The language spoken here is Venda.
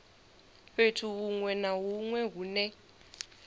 fhethu hunwe na hunwe hune